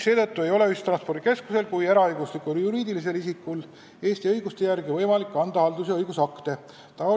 Seetõttu ei ole ühistranspordikeskusel kui eraõiguslikul juriidilisel isikul Eesti õiguse järgi võimalik anda haldus- ja õigusakte.